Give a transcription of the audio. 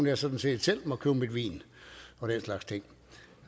jeg sådan set selv må købe min vin og den slags ting